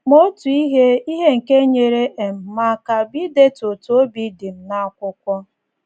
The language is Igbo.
Ma otu ihe ihe nke nyeere um m aka bụ idetu otú obi dị m n’akwụkwọ.